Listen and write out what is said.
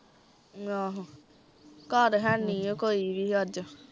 ਆਹੋ ਘਰ ਹੈ ਨੀ ਐ ਕੋਈ ਵੀ ਅੱਜ